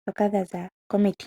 ndhoka dhaza komiti.